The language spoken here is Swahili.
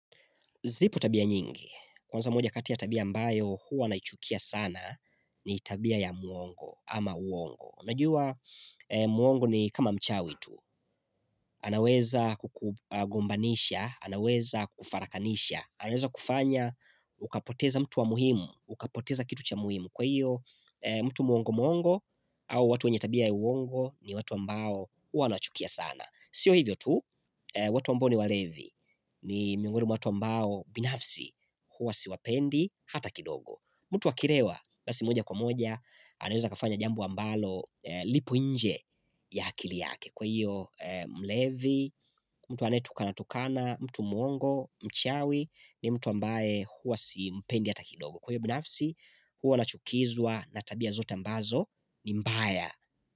Zipo tabia nyingi. Kwanza moja kati ya tabia ambayo huwa naichukia sana ni tabia ya muongo ama uongo. Najua muongo ni kama mchawi tu. Anaweza kukugombanisha, anaweza kufarakanisha, anaweza kufanya, ukapoteza mtu wa muhimu, ukapoteza kitu cha muhimu. Kwa hiyo, mtu muongo muongo au watu wenye tabia ya uongo ni watu ambao huwa naichukia sana. Sio hivyo tu, watu ambao ni walevi ni miuongoni mwa watu ambao binafsi huwa siwapendi hata kidogo. Mtu akilewa basi moja kwa moja anaweza akafanya jambo ambalo lipo nje ya akili yake. Kwa hiyo mlevi, mtu anetu kana tukana, mtu muongo, mchawi ni mtu ambaye huwa simpendi hata kidogo. Kwa hiyo binafsi huwa nachukizwa natabia zote ambazo ni mbaya.